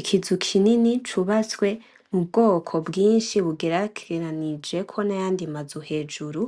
Ikizu kinini cubatswe mubwoko bwinshi bugerejeranijeko n’ayandi mazu hejuru